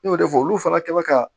N y'o de fɔ olu fana kɛ bɛ ka